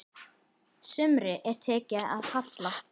Sumri er tekið að halla.